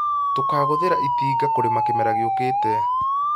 Tũkagũthĩra itinga kũrĩma kĩmera gĩũkĩte